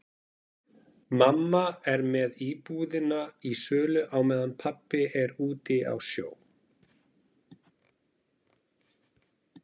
Mamma er með íbúðina í sölu á meðan pabbi er úti á sjó.